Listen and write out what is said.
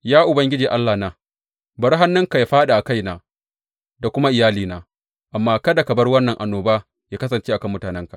Ya Ubangiji Allahna, bari hannunka ya fāɗi a kaina da kuma iyalina, amma kada ka bar wannan annoba ya kasance a kan mutanenka.